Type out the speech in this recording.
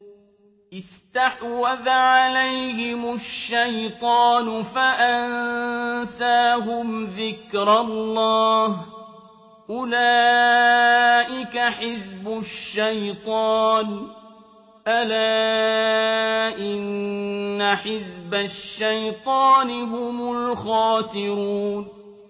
اسْتَحْوَذَ عَلَيْهِمُ الشَّيْطَانُ فَأَنسَاهُمْ ذِكْرَ اللَّهِ ۚ أُولَٰئِكَ حِزْبُ الشَّيْطَانِ ۚ أَلَا إِنَّ حِزْبَ الشَّيْطَانِ هُمُ الْخَاسِرُونَ